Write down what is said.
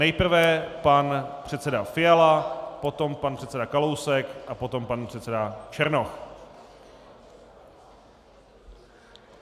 Nejprve pan předseda Fiala, potom pan předseda Kalousek a potom pan předseda Černoch.